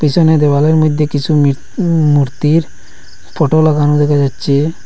পিসনে দেয়ালের মধ্যে কিছু মৃত উ মূর্তির ফোটো লাগানো দেখা যাচ্ছে।